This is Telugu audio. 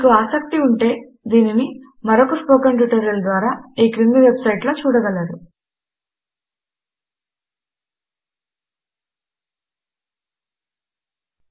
మీకు ఆసక్తి ఉంటే ఇది మరొక్క స్పోకెన్ ట్యుటోరియల్ ద్వారా ఈ క్రింది వెబ్ సైట్ టు httpspoken tutorialorg లో అందుబాటులో ఉంది